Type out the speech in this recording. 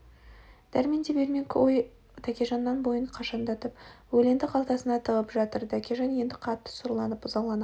дәрменде бермек ой жоқ тәкежаннан бойын қашандатып өленді қалтасына тығып жатыр тәкежан еңді қатты сұрланып ызалана